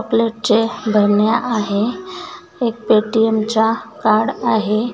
Chocolate चे बरण्या आहे. एक पेटीम च्या कार्ड आहे.